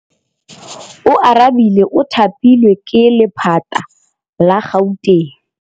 Oarabile o thapilwe ke lephata la Gauteng.